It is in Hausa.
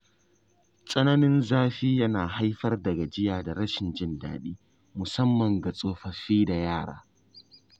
Tsananin zafi yana haifar da gajiya da rashin jin daɗi, musamman ga tsofaffi da yara.